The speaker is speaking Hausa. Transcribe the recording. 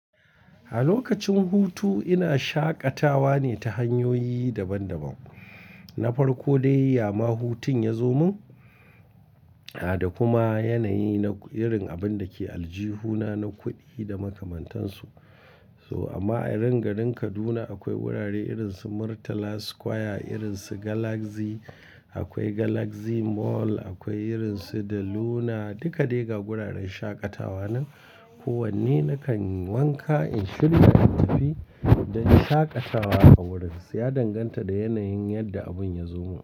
A lokacin hutu ina shaƙatawa ne ta hanyoyi daban-daban. Na farko dai, yama hutun ya zo min, a da kuma yanayi na irin abin da ke aljihuna na kuɗi da makamantansu. So amma anan garin Kaduna akwai wurare irin su Murtala Square, irin su Galaxy, akwai Galaxy Mall, akwai irin su De Luna. Duka dai ga wuraren shaƙatawa nan. Ko wanne nakan wanka in shirya natafi don shaƙatawa a wurinsa. Ya danganta da yanayin yadda abun ya zo min.